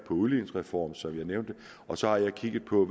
udligningsreform som jeg nævnte og så har jeg kigget på